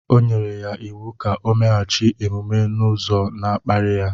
O nyere ya iwu ka o meghachi omume n’ụzọ na-akparị ya